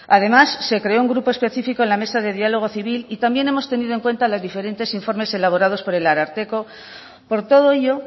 además se creó un grupo específico en la mesa diálogo civil y también hemos tenido en cuenta los diferentes informes elaborados por el ararteko por todo ello